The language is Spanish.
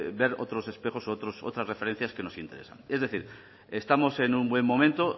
ver otros espejos u otras referencias que nos interesan es decir estamos en un buen momento